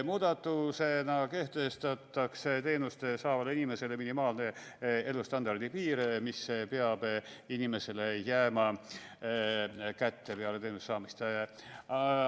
Muudatusena kehtestatakse teenust saavale inimesele minimaalne elustandardi piir – summa, mis peab inimesele jääma kätte peale teenuse saamist.